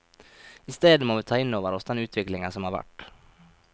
I stedet må vi ta inn over oss den utviklingen som har vært.